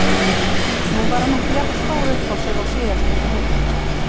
Nú var hann ekki jafn stór uppá sig og síðast þegar við hittumst.